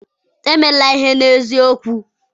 emela ihe n'eziokwu!